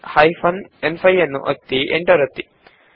hyphen ನ್5 enter ಒತ್ತಿ